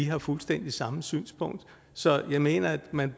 har fuldstændig samme synspunkt så jeg mener at man